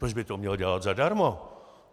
Proč by to měl dělat zadarmo?